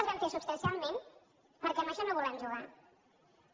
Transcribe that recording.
les vam fer substancialment perquè amb això no volem jugar·hi